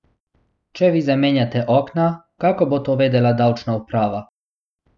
Če vi zamenjate okna, kako bo to vedela davčna uprava?